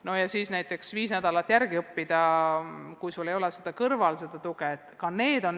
Pole kerge viis nädalat järele õppida, kui sul ei ole seda tuge kõrval.